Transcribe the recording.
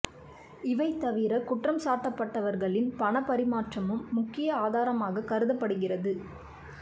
இவை தவிர குற்றம் சாட்டப்பட்டவர்களின் பணப் பறிமாற்றமும் முக்கிய ஆதாரமாக கருதப்படுகிறது